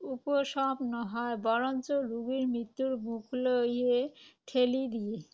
উপশম নহয়। বৰঞ্চ ৰোগীক মৃত্যুৰ মুখলৈহে ঠেলি দিয়ে।